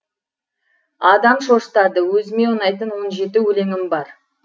адам шошытады өзіме ұнайтын он жеті өлеңім бар